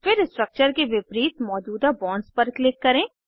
फिर स्ट्रक्चर के विपरीत मौजूदा बॉन्ड्स पर क्लिक करें